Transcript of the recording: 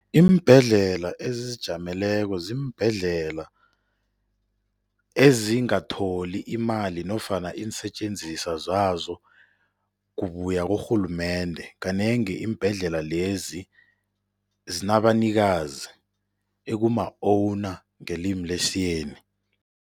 Iimbhedlela ezizijameleko ziimbhedlela ezingatholi imali nofana iinsetjenziswa zazo kubuya kurhulumende. Kanengi iimbhedlela lezi zinabanikazi ekuma-owner ngelimi lesiyeni.